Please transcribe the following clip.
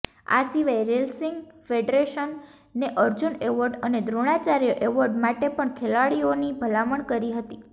આ સિવાય રેલસિંગ ફેડરેશને અર્જુન એવોર્ડ અને દ્રોણાચાર્ય એવોર્ડ માટે પણ ખેલાડીઓની ભલામણ કરી હતી